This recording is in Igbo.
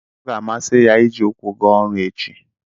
Ọ ga-amasị ya iji ụkwụ gaa ọrụ echi.